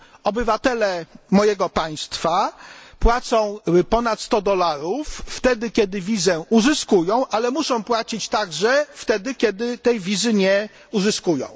Obywatele mojego państwa płacą ponad 100 dolarów wtedy, kiedy wizę uzyskują, ale muszą płacić także wtedy, kiedy wizy nie uzyskują.